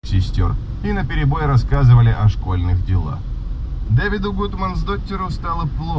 сестёр и наперебой рассказывали о школьных делах